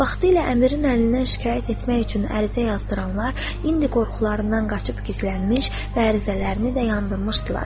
Vaxtilə əmirin əlindən şikayət etmək üçün ərizə yazdıranlar indi qorxularından qaçıb gizlənmiş və ərizələrini də yandırmışdılar.